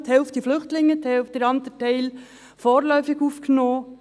die Hälfte davon sind Flüchtlinge, der andere Teil sind vorläufig Aufgenommene.